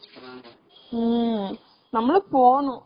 ம்ம் நம்மளும் போனும்.